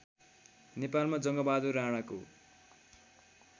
नेपालमा जङ्गबहादुर राणाको